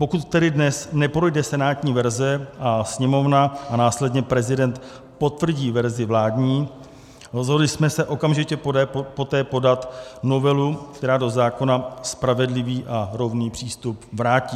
Pokud tedy dnes neprojde senátní verze a Sněmovna a následně prezident potvrdí verzi vládní, rozhodli jsme se okamžitě poté podat novelu, která do zákona spravedlivý a rovný přístup vrátí.